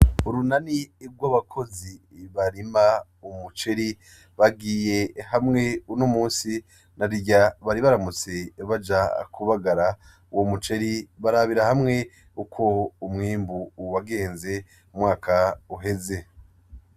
Urunani rw'abakozi barima umuceri, bagiye hamwe unomusi , narirya bari baramutse baja kubagara uwo muceri barabira hamwe uko umwimbu wagenze umwaka uheze .